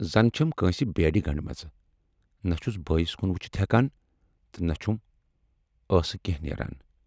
زَن چھَم کٲنسہِ بیڈٕ گنڈِمژٕ، نہَ چھُس بایَس کُن وُچھِتھ ہٮ۪کان تہٕ نہَ چھُم ٲسہٕ کینہہ نیران۔